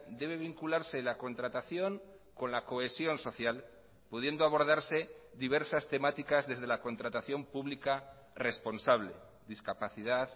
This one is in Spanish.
debe vincularse la contratación con la cohesión social pudiendo abordarse diversas temáticas desde la contratación pública responsable discapacidad